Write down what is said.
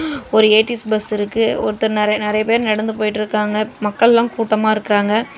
ஒரு A T S bus இருக்கு ஒருத்தர் நெற நெறைய பேர் நடந்து போயிட்ருக்காங்க மக்கல்லா கூட்டமா இருக்கறாங்க.